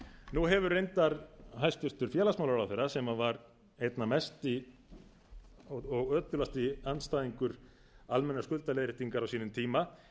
nú hefur reyndar hæstvirts félagsmálaráðherra sem var einna mesti og ötulasti andstæðingur almennrar skuldaleiðréttingar á sínum tíma